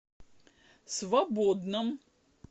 свободном